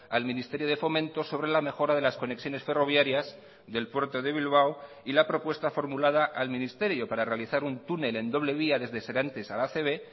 al ministerio de fomento sobre la mejora de las conexiones ferroviarias del puerto de bilbao y la propuesta formulada al ministerio para realizar un túnel en doble vía desde serantes a la acb